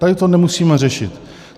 Tady to nemusíme řešit.